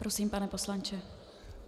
Prosím, pane poslanče.